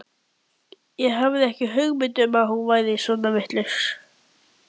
Ekki hafði ég hugmynd um að hún væri svona vitlaus.